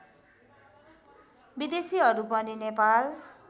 विदेशीहरू पनि नेपाल